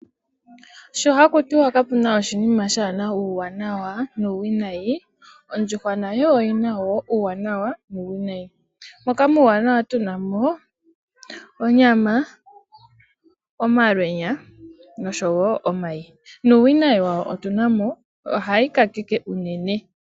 Sho haku tiwa kapuna oshinima kaashi na uuwanawa nuuwinayi, ondjuhwa nayo oyina woo uuwanawa nuuwinayi, moka uuwanawa tuna mo, onyama, omayi nosho wo omalwenya, nuuwinayi wayo owo mboka kutya ondjuhwa ohayi kakeke unene.